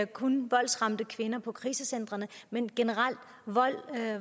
kun voldsramte kvinder på krisecentrene men generelt